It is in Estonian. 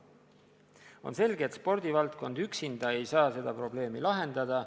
On selge, et spordivaldkond üksinda ei saa seda probleemi lahendada.